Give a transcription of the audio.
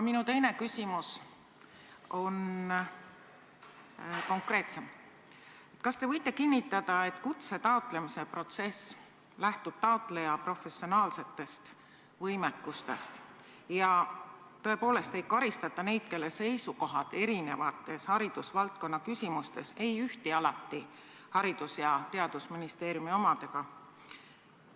Minu teine küsimus on konkreetsem: kas te võite kinnitada, et kutse taotlemise protsess lähtub taotleja professionaalsest võimekusest ja tõepoolest ei karistata neid, kelle seisukohad haridusvaldkonna eri küsimustes ei ühti alati Haridus- ja Teadusministeeriumi omadega?